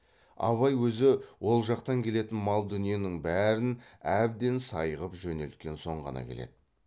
абай өзі ол жақтан келетін мал дүниенің бәрін әбден сай ғып жөнелткен соң ғана келеді